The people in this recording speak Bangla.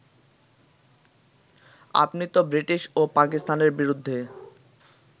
আপনিতো ব্রিটিশ ও পাকিস্তানের বিরুদ্ধে